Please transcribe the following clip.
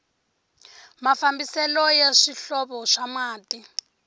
mafambiselo ya swihlovo swa mati